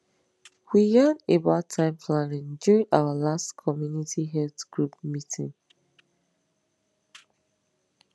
we yan about time planning during our last community health group meeting